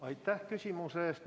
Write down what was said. Aitäh küsimuse eest!